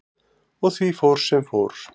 Og því fór sem fór.